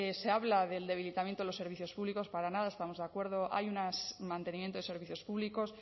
se habla del debilitamiento de los servicios públicos para nada estamos de acuerdo hay un mantenimiento de servicios públicos